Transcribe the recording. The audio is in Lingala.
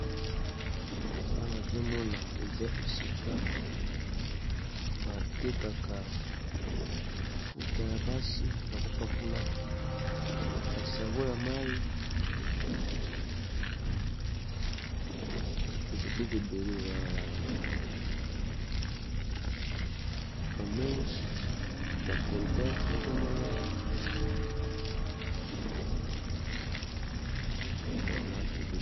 Awa nazomona eza esika batekaka ba mafuta ya basi ya kopakola ba savon ya mayi biloko ebele ba meche ba colgat nazomona awa yango wana eza ba marque ebele.